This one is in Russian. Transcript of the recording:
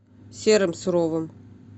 серым суровым